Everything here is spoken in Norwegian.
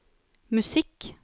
musikk